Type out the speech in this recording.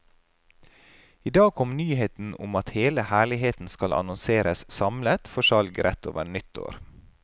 I dag kom nyheten om at hele herligheten skal annonseres samlet for salg rett over nyttår.